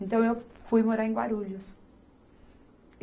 Então eu fui morar em Guarulhos.